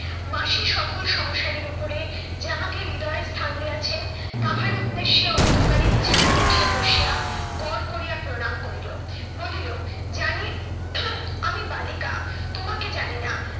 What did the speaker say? মাসি সকল সংসারের উপরে যাহাকে হৃদয়ে স্থান দিয়াছেন, তাহার উদ্দেশ্যে অন্ধকারে বিছানায় উঠিয়া বসিয়া গড় করিয়া প্রণাম করিল। বলিল জানি আমি বালিকা তোমাকে জানি না।